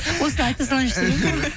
осыны айта салайыншы деп едім ғой